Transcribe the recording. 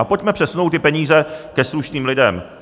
A pojďme přesunout ty peníze ke slušným lidem.